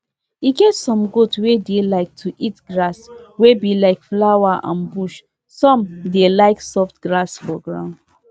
we dey hold meeting every year to talk how the animal wey dey chop together dey go and how we fit do am better.